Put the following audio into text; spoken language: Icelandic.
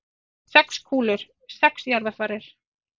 Sex kúlur, sex jarðarfarir.